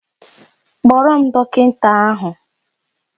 Kpọọrọ m dọkịnta ahụ!